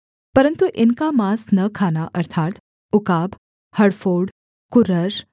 परन्तु इनका माँस न खाना अर्थात् उकाब हड़फोड़ कुरर